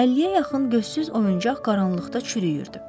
50-yə yaxın gözsüz oyuncaq qaranlıqda çürüyürdü.